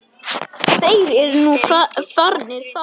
Þeir eru nú farnir þaðan.